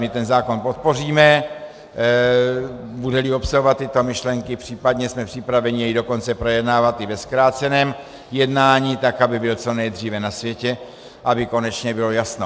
My ten zákon podpoříme, bude-li obsahovat tyto myšlenky, případně jsme připraveni jej dokonce projednávat i ve zkráceném jednání, aby byl co nejdříve na světě, aby konečně bylo jasno.